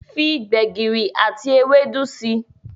Fí gbegiri àti Ewédú sí.